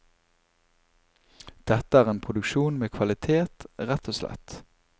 Dette er en produksjon med kvalitet, rett og slett.